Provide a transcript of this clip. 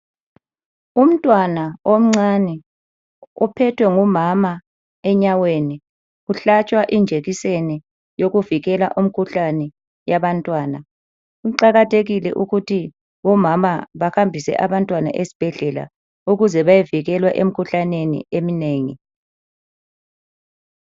Umntwana omncane uphethwe ngumama enyaweni uhlatshwa injekiseni yokuvikela umkhuhlane yabantwana. Kuqakathekile ukuthi omama bahambise abantwana esibhedlela ukuze bayevikelwa emikhuhlaneni eminengi.